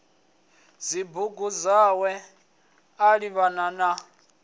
dzibugu dzawe a livhana na